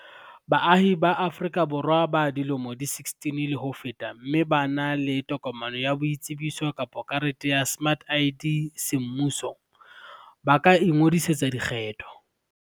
Baahi ba Aforika Borwa ba dilemo di 16 le ho feta mme ba na le tokomane ya boitsebiso kapa karete ya smart ID semmuso, ba ka ingodisetsa dikgetho.